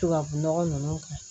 Tubabunɔgɔ ninnu kɛ